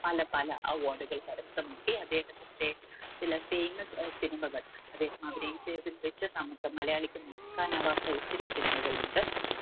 പല പല award കൾ കരസ്ഥമാക്കി അദ്ദേഹത്തിന്റെ ചില ഏർ cinema കൾ അദ്ദേഹം അഭിനയിച്ചതിൽ വെച്ച് നമുക്ക് മലയാളിക്ക് മറക്കാനാവാത്ത ഒത്തിരി cinema കളുണ്ട്